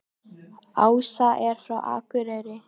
Ása er frá Akureyri.